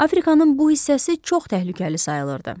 Afrikanın bu hissəsi çox təhlükəli sayılırdı.